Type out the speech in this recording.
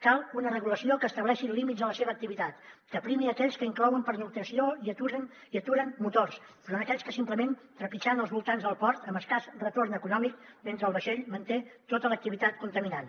cal una regulació que estableixi límits a la seva activitat que primi aquells que inclouen pernoctació i aturen motors enfront d’aquells que simplement trepitgen els voltants del port amb escàs retorn econòmic mentre el vaixell manté tota l’activitat contaminant